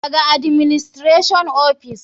Daga administration ofis.